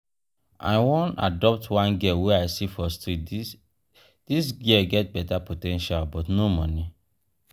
i wan adopt one girl wey i see for street dis girl get beta po ten tial but no money.